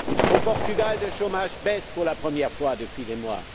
Au Portugal, le chômage baisse pour la première fois depuis des mois.